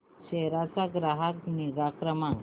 सेरा चा ग्राहक निगा क्रमांक